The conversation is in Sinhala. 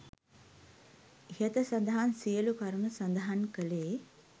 ඉහත සඳහන් සියලු කරුණු සඳහන් කළේ